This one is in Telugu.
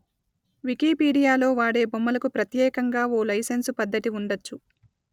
వికీపీడియాలో వాడే బొమ్మలకు ప్రత్యేకంగా ఓ లైసెన్సు పద్ధతి ఉండొచ్చు